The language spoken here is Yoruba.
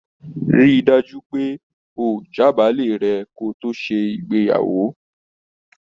Ri dájú pé oo j'abale rẹ kí to ṣe òrò ìgbéyàwó.